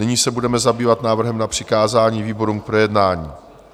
Nyní se budeme zabývat návrhem na přikázání výborům k projednání.